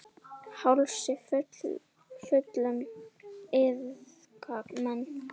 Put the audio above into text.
Hálsi fullum iðka menn.